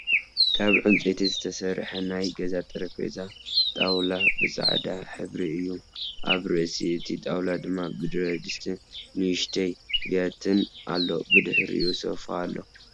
ካብ ዕንፀይቲ ዝተሰረሐ ናይ ገዛ ጠሬጰዛ ጣውላ ብፃዕዳ ሕብሪ እዩ ኣብ ርእሲ እቲ ጣውላ ድማ ብረድስትን ንእሽቶይ ብያትን ኣሎ ብድሕሪኢ ሶፋ ኣሎ።